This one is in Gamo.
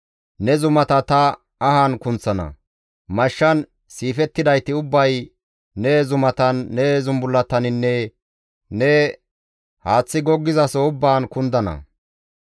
Ne zumata ta ahan kunththana; mashshan siifettidayti ubbay ne zumatan, ne zulletaninne ne haaththi goggizaso ubbaan kundana.